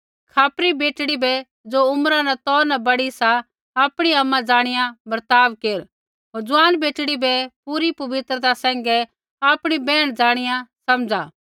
खापरी बेटड़ी बै ज़ो उम्रा न तौ न बड़ी सा आपणी आमा ज़ाणिया बर्ताव केर होर ज़ुआन बेटड़ी बै पूरी पवित्रता सैंघै आपणी बैहण ज़ाणिया समझ़ा